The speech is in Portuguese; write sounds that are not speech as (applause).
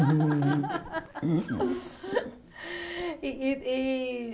(laughs) E e e